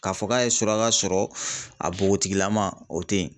K'a fɔ k'a ye suraka sɔrɔ, a nbogotigilama, o tɛ yen.